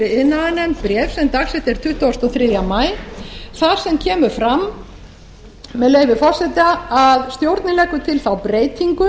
iðnaðarnefnd bréf sem dagsett er tuttugasti og þriðja maí þar sem kemur fram með leyfi forseta að stjórnin leggur til þá breytingu